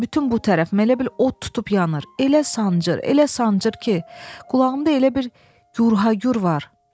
Bütün bu tərəf, elə bil od tutub yanır, elə sancır, elə sancır ki, qulağımda elə bir gürhagür var.